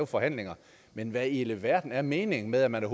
forhandlinger men hvad i alverden er meningen med at man